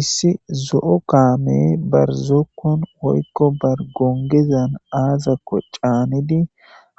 issi zo7o kaame barzookkon woykko bar gongezan aazakko caanidi